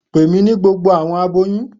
Pe mi ni gbogbo awọn aboyun